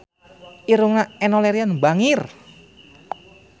Irungna Enno Lerian bangir